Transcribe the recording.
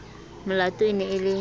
olato e ne e le